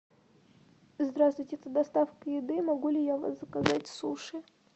здравствуйте это доставка еды могу ли я у вас заказать суши